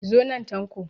Zo nan Tanko!